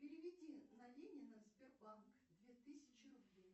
переведи на ленина сбербанк две тысячи рублей